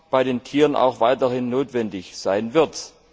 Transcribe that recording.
bei Tieren auch weiterhin notwendig sein wird.